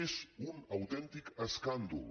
és un autèntic escàndol